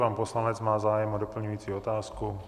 Pan poslanec má zájem o doplňující otázku.